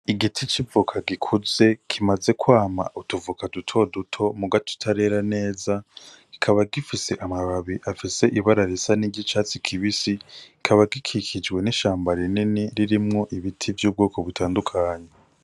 Igiti c'ivoka gikuze kimaze kwama utuvoka dutoduto mu gaco utarera neza kikaba gifise amababi afise ibararisa n'iryo icatsi kibisi kaba gikikijwe n'ishamba rineni ririmwo ibiti vy'ubwoko butandukanyi.